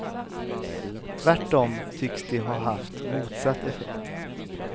Tvärtom tycks de ha haft motsatt effekt.